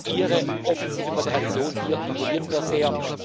Ihre offensive Moderation hier imponiert mir sehr.